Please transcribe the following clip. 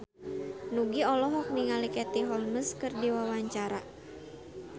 Nugie olohok ningali Katie Holmes keur diwawancara